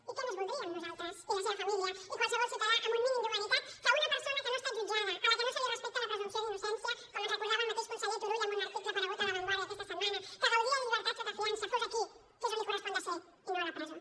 i què més voldríem nosaltres i la seva família i qualsevol ciutadà amb un mínim d’humanitat que una persona que no ha estat jutjada a la que no se li respecta la presumpció d’innocència com ens recordava el mateix conseller turull en un article aparegut a la vanguardia aquesta setmana que gaudia de llibertat sota fiança fos aquí que és on li correspon de ser i no a la presó